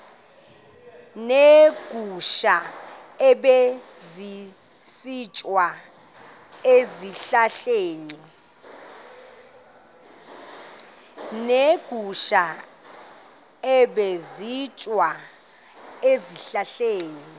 neegusha ebezisitya ezihlahleni